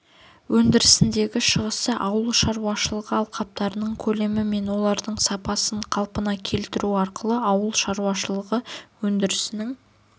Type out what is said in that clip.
өндірісіндегі шығасы ауыл шаруашылығы алқаптарының көлемі мен олардың сапасын қалпына келтіру арқылы ауыл шаруашылығы өндірісінің